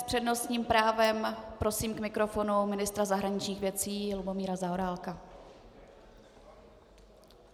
S přednostním právem prosím k mikrofonu ministra zahraničních věcí Lubomíra Zaorálka.